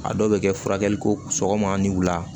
A dɔw bɛ kɛ furakɛli ko sɔgɔma ni wula